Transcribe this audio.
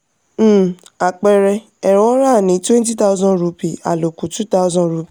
um àpẹẹrẹ: ẹrọ ra ni twenty thousand rupee àlòkù two thousand rupee